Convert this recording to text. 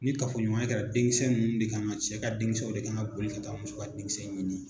Ni kafoɲɔgɔnya kɛra den kisɛ ninnu de kan ŋa cɛ ka den kisɛw de kan ŋa boli ka taa muso ka den kisɛ ɲini